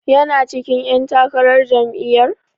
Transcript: Yana cikin ƴan takarar jam'iyyar?